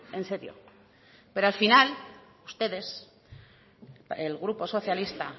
en serio pero al final ustedes el grupo socialista